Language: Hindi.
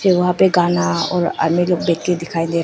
वहां पे गाना और आदमी लोग बैठके दिखाई दे रहे--